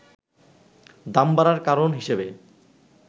দাম বাড়ার কারণ হিসেবে